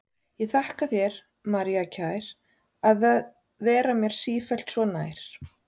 Ég þakka þér, María kær, að vera mér sífellt svo nær.